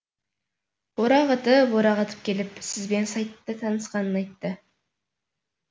орағытып орағытып келіп сізбен сайтта танысқанын айтты